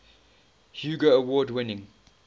hugo award winning